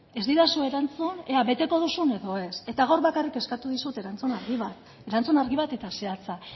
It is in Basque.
ez didazu erantzun ea beteko duzun edo ez gaur bakarrik eskatu dizut erantzun argi bat eta zehatza